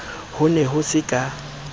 ho ne ho se ka